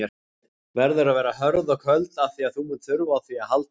Verður að vera hörð og köld afþvíað þú munt þurfa á því að halda.